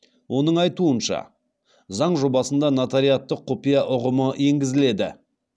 оның айтуынша заң жобасында нотариаттық құпия ұғымы енгізіледі